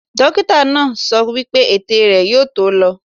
Dókítà náà sọ wípé ètè rẹ̀ náà yóò tó lọ.